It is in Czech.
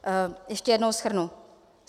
Ještě jednou shrnu.